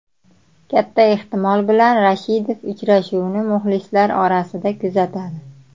Katta ehtimol bilan Rashidov uchrashuvni muxlislar orasida kuzatadi.